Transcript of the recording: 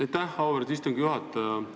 Aitäh, auväärt istungi juhataja!